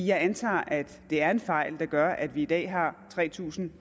jeg antager at det er en fejl der gør at vi i dag har tre tusind